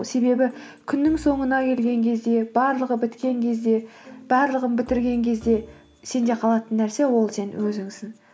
себебі күннің соңына келген кезде барлығы біткен кезде барлығын бітірген кезде сенде қалатын нәрсе ол сен өзіңсін